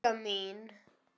Í maga mín